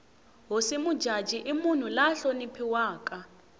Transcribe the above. hosi mujaji i munhu la hloniphiwaka